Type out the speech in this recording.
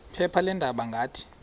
phepha leendaba ngathi